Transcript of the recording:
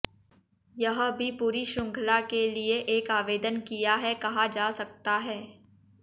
यह भी पूरी श्रृंखला के लिए एक आवेदन किया है कहा जा सकता है